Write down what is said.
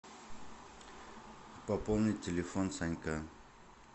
пополнить телефон санька